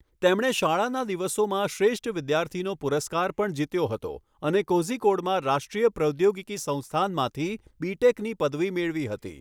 તેમણે શાળાના દિવસોમાં શ્રેષ્ઠ વિદ્યાર્થીનો પુરસ્કાર પણ જીત્યો હતો અને કોઝિકોડમાં રાષ્ટ્રીય પ્રૌદ્યોગિકી સંસ્થાનમાંથી બી.ટેક.ની પદવી મેળવી હતી.